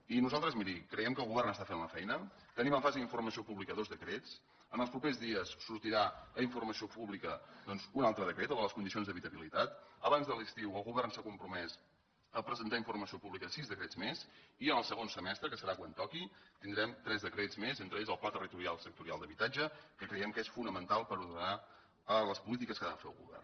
i nosaltres miri creiem que el govern està fent la feina tenim en fase d’informació pública dos decrets en els propers dies sortirà a informació pública doncs un altre decret el de les condicions d’habitabilitat abans de l’estiu el govern s’ha compromès a presentar a informació pública sis decrets més i en el segon semestre que serà quan toqui tindrem tres decrets més entre ells el pla territorial sectorial d’habitatge que creiem que és fonamental per ordenar les polítiques que ha de fer el govern